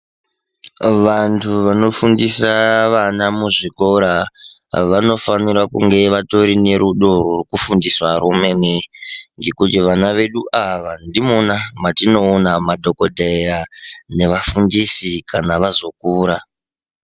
Vanthu vanofundisa vana muzvikora vanofanira kunge vatorinerudo rwekufundisa rwemene nekuti vana vedu ava ndimona matinoona madhokodheya nevafundisi kana vazokura.